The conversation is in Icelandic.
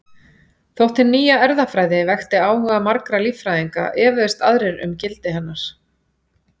Þótt hin nýja erfðafræði vekti áhuga margra líffræðinga efuðust aðrir um gildi hennar.